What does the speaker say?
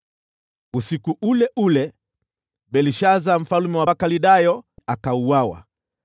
Usiku ule ule, Belshaza mfalme wa Wakaldayo akauawa,